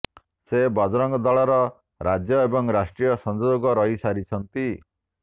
ସେ ବଜରଙ୍ଗ ଦଳର ରାଜ୍ୟ ଏବଂ ରାଷ୍ଟ୍ରୀୟ ସଂଯୋଜକ ରହି ସାରିଛନ୍ତି